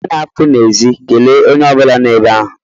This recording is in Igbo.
Mgbe ị na-apụ n'èzí kelee onye ọ bụla nọ ebe ahụ.